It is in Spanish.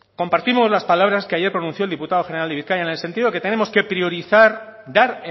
compartimos las palabras que ayer pronunció el diputado general de bizkaia en el sentido de que tenemos que priorizar dar